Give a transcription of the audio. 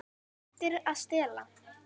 Hættir að stela.